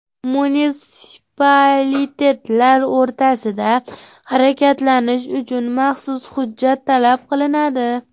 Munitsipalitetlar o‘rtasida harakatlanish uchun maxsus hujjat talab qilinadi.